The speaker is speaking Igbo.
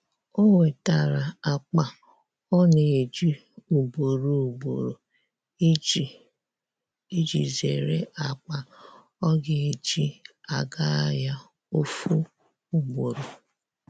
o wetara akpa ọ na eji ugboro ugboro iji iji zere akpa ọ ga eji aga ahia ofu ugboro.